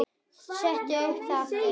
Setti það svo upp aftur.